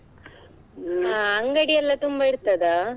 ಅಂಗಡಿಯೆಲ್ಲಾ ತುಂಬಾ ಇರ್ತದ?